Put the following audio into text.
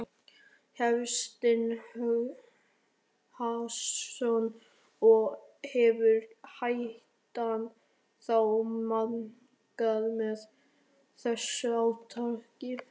Hafsteinn Hauksson: Og hefur hættan þá minnkað með þessu átaki?